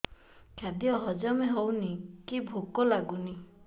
ଖାଦ୍ୟ ହଜମ ହଉନି କି ଭୋକ ଲାଗୁନି